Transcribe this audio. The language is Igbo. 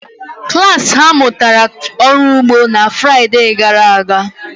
Klas ha mụtara ọrụ ugbo na Fraịde gara aga.